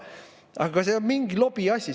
Aga see on mingi lobiasi siin.